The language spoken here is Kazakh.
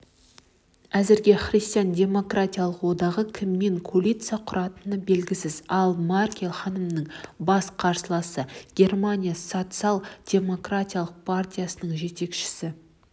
әзірге христиан-демократиялық одағы кіммен коалиция құратыны белгісіз ал меркель ханымның бас қарсыласы германия социал-демократиялық партиясының жетекшісі